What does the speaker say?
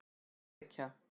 Ekki reykja!